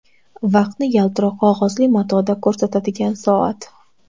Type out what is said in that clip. Vaqtni yaltiroq qog‘ozli matoda ko‘rsatadigan soat.